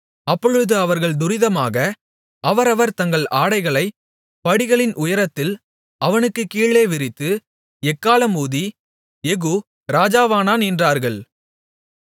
அப்பொழுது அவர்கள் துரிதமாக அவரவர் தங்கள் ஆடைகளைப் படிகளின் உயரத்தில் அவனுக்கு கீழே விரித்து எக்காளம் ஊதி யெகூ ராஜாவானான் என்றார்கள்